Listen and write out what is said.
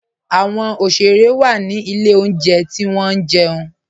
Awọn oṣere wa ni ilẹ̀ ọ̀njẹ̀ ti wọn jẹun